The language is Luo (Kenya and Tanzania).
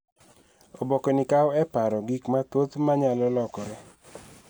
Oboke ni kawo e paro gik mathoth ma nyalo lokore.